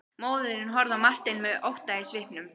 Móðirin horfði á Martein með ótta í svipnum.